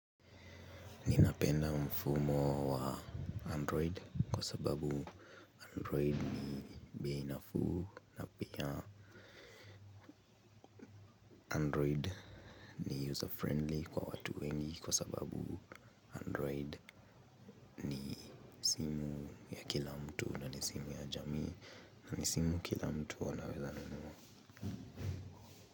Napenda mfumo wa android kwa sababu andrioid ni bei nafuu na pia Android ni user friendly kwa watu wengi kwa sababu Android ni ya kila mtu ni simu ya jamii na ni simu kila mtu anaweza nunua.